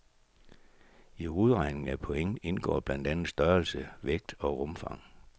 I udregningen af point indgår blandt andet størrelse, vægt og rumfang.